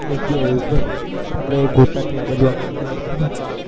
SGhighway આપડે ગોતા થી આ બાજુ આગળ આયીને એ